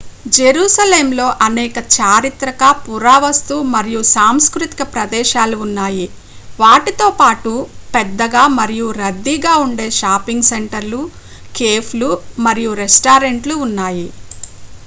జెరూసలెంలో అనేక చారిత్రక పురావస్తు మరియు సాంస్కృతిక ప్రదేశాలు ఉన్నాయి వాటితో పాటు పెద్దగా మరియు రద్దీగా ఉండే షాపింగ్ సెంటర్లు కేఫ్లు మరియు రెస్టారెంట్లు ఉన్నాయి